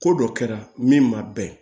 Ko dɔ kɛra min ma bɛn